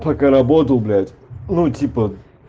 пока работал блять ну типа